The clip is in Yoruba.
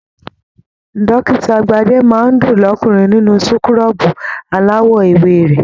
Dókítà Gbade máa n dùn l'ọkunrin nínú súkúrọbuù alawọ ewé rẹ.